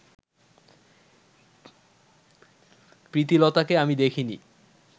প্রীতিলতাকে আমি দেখিনি